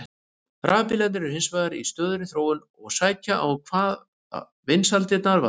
Rafbílarnir eru hins vegar í stöðugri þróun og sækja á hvað vinsældirnar varðar.